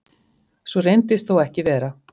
Svo reyndist þó ekki vera